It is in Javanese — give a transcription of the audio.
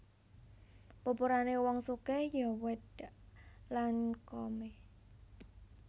Pupurane wong sugih yo wedhak Lancome